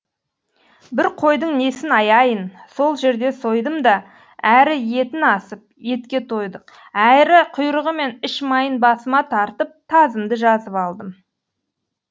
бір қойдың несін аяйын сол жерде сойдым да әрі етін асып етке тойдық әрі құйрығы мен іш майын басыма тартып тазымды жазып алдым